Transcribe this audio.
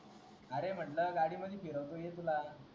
R म्हंटल गाडी मध्ये फिरवतो ये तुला